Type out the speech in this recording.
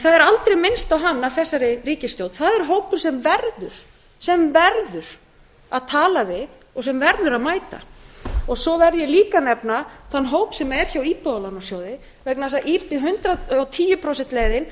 það er aldrei minnst á hann af þessari ríkisstjórn það er hópur sem verður sem verður að tala við og sem verður að mæta svo verð ég líka að nefna þann hóp sem er hjá íbúðalánasjóði vegna þess að hundrað og tíu prósenta leiðin